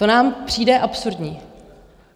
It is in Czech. To nám přijde absurdní.